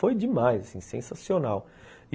Foi demais, assim, sensacional e